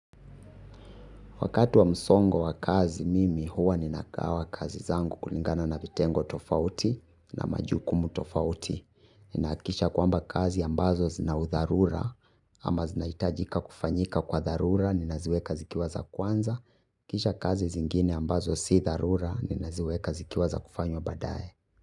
Wakati wa msongo wa kazi mimi huwa ninagawa kazi zangu kulingana na vitengo tofauti na majukumu tofauti. Ninaakikisha kwamba kazi ambazo zina udharura, ama zinaitajika kufanyika kwa dharura, ninaziweka zikiwa za kwanza. Kisha kazi zingine ambazo si dharura, ninaziweka zikiwa za kufanywa baadaye.